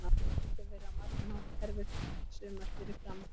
Þetta hefur verið á margan hátt erfitt sumar fyrir Fram.